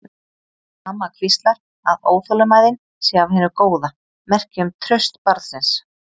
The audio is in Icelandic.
Mamma hvíslar að óþolinmæðin sé af hinu góða, merki um traust barnsins.